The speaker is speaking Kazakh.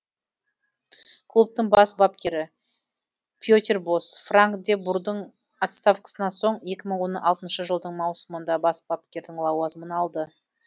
клубтың бас бапкері петер бос франк де бурдың отставкасынан соң екі мың он алтыншы жылдың маусымында бас бапкердің лауазымын алды